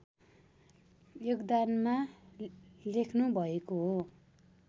योगदानमा लेख्नुभएको हो